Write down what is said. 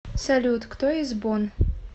салют кто из бонн